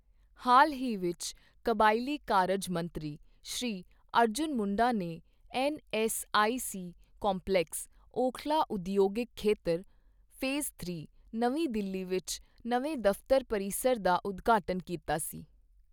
ਹਾਲ ਹੀ ਵਿੱਚ ਕਬਾਇਲੀ ਕਾਰਜ ਮੰਤਰੀ ਸ਼੍ਰੀ ਅਰਜੁਨ ਮੁੰਡਾ ਨੇ ਐੱਨਐੱਸਆਈਸੀ ਕੰਪਲੈਕਸ, ਓਖਲਾ ਉਦਯੋਗਿਕ ਖੇਤਰ, ਫੇਜ਼ ਥ੍ਰੀ, ਨਵੀਂ ਦਿੱਲੀ ਵਿੱਚ ਨਵੇਂ ਦਫ਼ਤਰ ਪਰਿਸਰ ਦਾ ਉਦਘਾਟਨ ਕੀਤਾ ਸੀ।